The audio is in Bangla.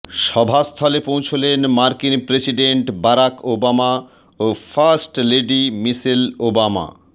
সভাস্থলে পৌঁছলেন মার্কিন প্রেসিডেন্ট বারাক ওবামা ও ফার্স্ট লেডি মিশেল ওবামা